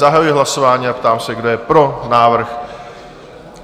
Zahajuji hlasování a ptám se, kdo je pro návrh?